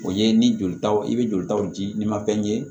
O ye ni jolitaw i bɛ jolitaw di n'i ma fɛn ye